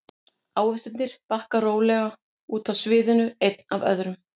Ávextirnir bakka rólega út af sviðinu einn af öðrum.